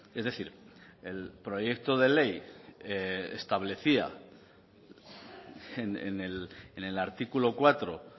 es decir el proyecto de ley establecía en el artículo cuatro